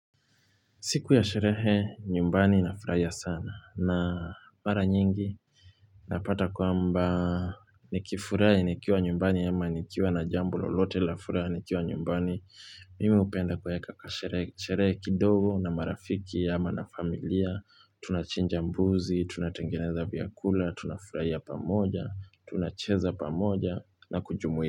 Siku ya sherehe, nyumbani na furahia sana na mara nyingi napata kwamba ni kifurahi nikiwa nyumbani ama nikiwa na jambo lolote la furaha ni kiwa nyumbani. Mimi hupenda kuweka kasherehe kidogo na marafiki ama na familia. Tunachinja mbuzi, tunatengeneza vyakula, tunafuraahi pamoja, tunacheza pamoja na kujumuika.